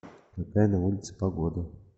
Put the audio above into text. какая на улице погода